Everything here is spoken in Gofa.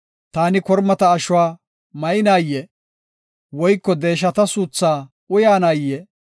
Taani kormata ashuwa maynayee? woyko deeshata suuthaa uyanayee?